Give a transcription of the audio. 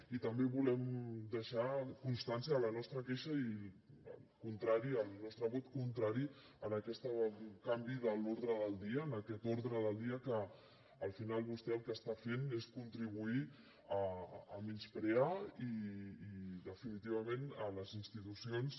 i també volem deixar constància de la nostra queixa i el nostre vot contrari a aquest canvi de l’ordre del dia a aquest ordre del dia que al final vostè el que està fent és contribuir a menysprear i definitivament les institucions